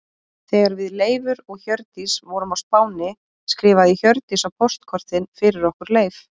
Þegar við Leifur og Hjördís vorum á Spáni skrifaði Hjördís á póstkortin fyrir okkur Leif.